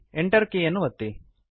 Enter ಕೀಲಿಯನ್ನು ಒತ್ತಿರಿ